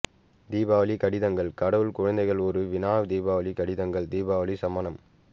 தீபாவளி கடிதங்கள் கடவுள் குழந்தைகள் ஒரு வினா தீபாவளி கடிதங்கள் தீபாவளி சமணம்